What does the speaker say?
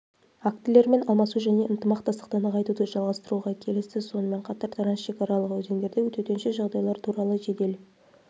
актілермен алмасу және ынтымақтастықты нығайтуды жалғастыруға келісті сонымен қатар трансшекаралық өзендерде төтенше жағдайлар туралы жедел